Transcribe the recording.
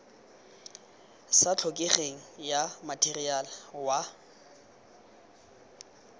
sa tlhokegeng ya matheriale wa